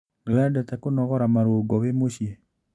Nĩwendete kũnogora marũngo wĩ mũcii?